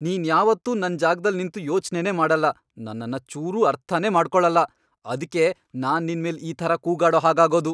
ನೀನ್ ಯಾವತ್ತೂ ನನ್ ಜಾಗ್ದಲ್ ನಿಂತು ಯೋಚ್ನೆನೇ ಮಾಡಲ್ಲ, ನನ್ನನ್ನ ಚೂರೂ ಅರ್ಥನೇ ಮಾಡ್ಕೊಳಲ್ಲ, ಅದ್ಕೇ ನಾನ್ ನಿನ್ಮೇಲ್ ಈ ಥರ ಕೂಗಾಡೋ ಹಾಗಾಗೋದು.